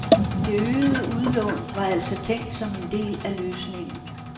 Det øgede udlån var altså tænkt som en del af løsningen.